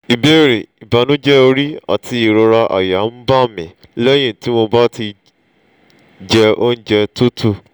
ìbéèrè: ìbànújẹ́ orí àti ìrora àyà ń bá mi lẹ́yìn tí mo bá jẹ oúnjẹ tútù